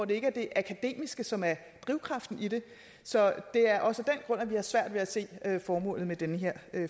det ikke er det akademiske som er drivkraften i det så det er også af at vi har svært ved at se formålet med den her